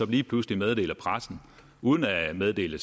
lige pludselig meddeler pressen uden at meddele